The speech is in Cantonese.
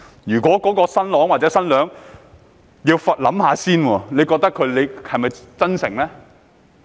如果新郎或新娘要想一想才說，你認為他們是否真誠呢？